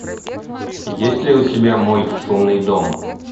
есть ли у тебя мой шумный дом